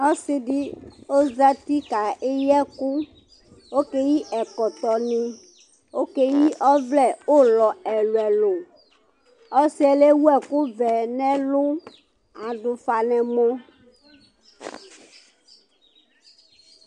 Ɔsɩɗɩ ɔzatɩ ɔƙeƴɩ ɛƙʊ, ɔƙeƴɩ ɛƙɔtɔnɩ ɔƙeƴɩ ɔʋlɛ ʊlɔ ɛlʊ ɛlʊ ɔsɩƴɛ tewʊ ɛƙʊ ɔʋɛ nʊ ɛlʊ aɗʊ ʊfa nʊ ɛmɔ